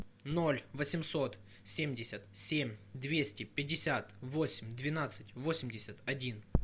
ноль восемьсот семьдесят семь двести пятьдесят восемь двенадцать восемьдесят один